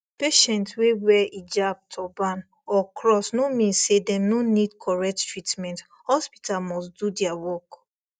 patient wey wear hijab turban or cross no mean say dem no need correct treatment hospital must do dia work